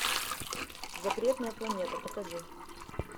запретная планета покажи